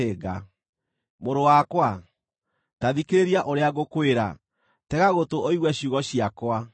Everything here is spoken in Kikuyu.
Mũrũ wakwa, ta thikĩrĩria ũrĩa ngũkwĩra; tega gũtũ ũigue ciugo ciakwa.